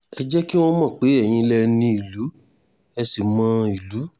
ẹ jẹ́ kí wọ́n mọ̀ pé eyín lẹ ní ìlú ẹ̀ ṣì mọ ìlú